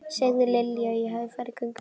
Segðu Lilju að ég hafi farið í göngutúr.